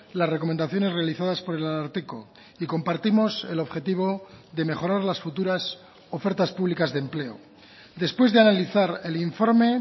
las recomendaciones realizadas por el ararteko y compartimos el objetivo de mejorar las futuras ofertas públicas de empleo después de analizar el informe